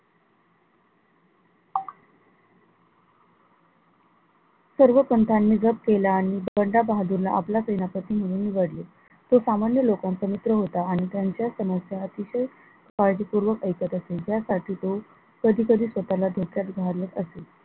सर्व पंतांनी जप केला आणि बंडा बहाद्दूर ला आपला सेनापती म्हणून निवडले, तो सामान्य लोकांचा मित्र होता आणि त्यांच्या समस्या अतिशय काळजी पूर्वक ऐकत असे ज्या साठी तो कधी कधी स्वतःला धोक्यात घालत असे.